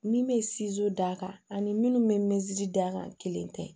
Min bɛ d'a kan ani minnu bɛ d'a kan kelen tɛ